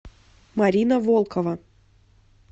марина волкова